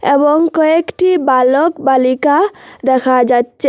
এবং কয়েকটি বালক বালিকা দেখা যাচ্চে ।